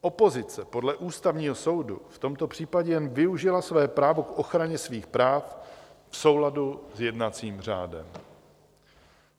Opozice podle Ústavního soudu v tomto případě jen využila své právo k ochraně svých práv v souladu s jednacím řádem.